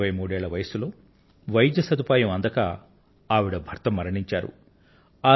ఇరవై మూడేళ్ల వయస్సులో వైద్య సదుపాయం అందక ఆవిడ భర్త మరణించారు